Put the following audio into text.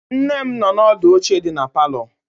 Nne m nọ ọdụ n'oche dị na palọ.